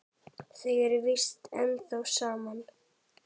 Þau eru víst ennþá saman.